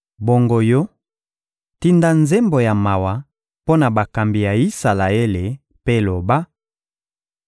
«Bongo yo, tinda nzembo ya mawa mpo na bakambi ya Isalaele mpe loba: